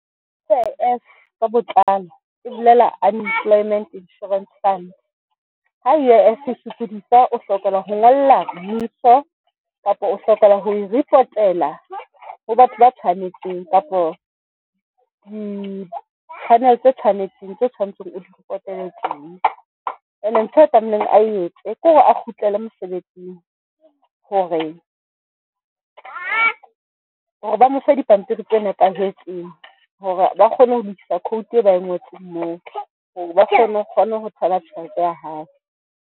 U_I_F ka botlalo ke bolela Unemployment Insurance Fund. Ha U_I_F e sokodisa, o hlokela ho ngolla mmuso kapa o hlokahala ho e report-ela ho batho ba tshwanetseng kapo di-channel tse tshwanetseng tse tshwanetseng o report-ele tsona. E ne ntho e tlamehileng a etse kore a kgutlele mosebetsing hore, hore ba mo fe dipampiri tse nepahetseng hore ba kgone ho lokisa quote e ba e ngotseng moo ba kgone ho kgone ho thola tjhelete ya hae.